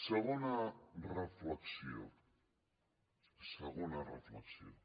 segona reflexió segona reflexió